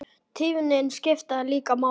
Tíðnin skiptir líka máli.